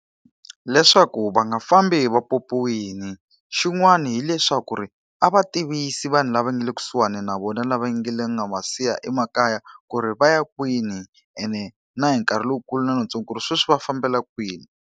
Leswaku va nga fambi hi va pyopyiwile. Xin'wana hileswaku ri a va tivisi vanhu lava nga le kusuhani na vona lava nga le nga va siya emakaya ku ri va ya kwini ene na hi nkarhi lowukulu lowutsongo ku ri sweswi va fambela kwini.